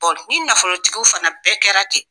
Ɔ ni nafolotigiw fana bɛɛ kɛra ten